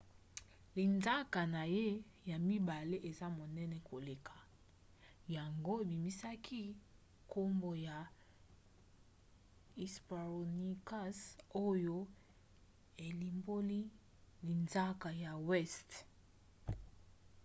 linzaka na ye ya mibale eza monene koleka yango ebimisaki nkombo ya hesperonychus oyo elimboli linzaka ya weste.